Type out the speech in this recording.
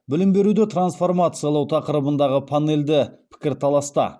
білім беруді трансформациялау тақырыбындағы панельді пікірталаста